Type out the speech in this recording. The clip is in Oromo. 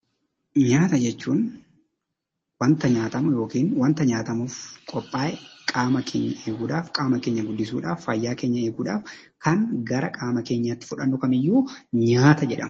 Nyaata jechuun waanta nyaatamu yookiin waanta nyaatamuuf qophaa'e, qaama keenya eeguudhaaf, qaama keenya guddisuudhaaf, fayyaa keenya eeguudhaaf kan gara qaama keenyaatti fudhannu kamiiyyuu nyaata jedhama.